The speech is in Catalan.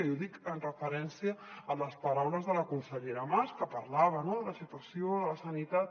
i ho dic en referència a les paraules de la consellera mas que parlava no de la situació de la sanitat